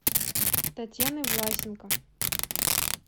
татьяны власенко